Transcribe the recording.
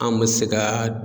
An be se ka